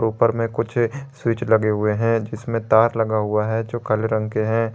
ऊपर में कुछ स्विच लगे हुए हैं इसमें तार लगा हुआ है जो काले रंग के हैं।